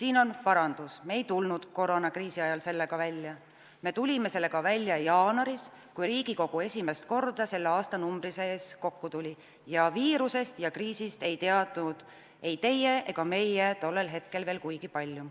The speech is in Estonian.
Siin on parandus: me ei tulnud koroonakriisi ajal sellega välja, me tulime sellega välja jaanuaris, kui Riigikogu esimest korda selle aastanumbri sees kokku tuli ning viirusest ja kriisist ei teadnud ei teie ega meie tollel hetkel veel kuigi palju.